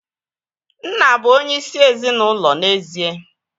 Nna bụ onyeisi ezinaụlọ n'ezie